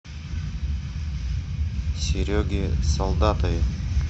сереге солдатове